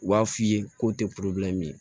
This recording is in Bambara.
U b'a f'i ye k'o tɛ min ye